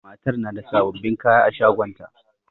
Matar na da sababbin kaya a shagonta